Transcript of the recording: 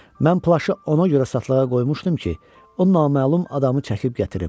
Mən plaşı ona görə satışa qoymuşdum ki, o naməlum adamı çəkib gətirim.